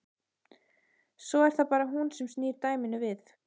Svo er það bara hún sem snýr dæminu við.